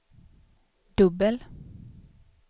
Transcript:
dubbel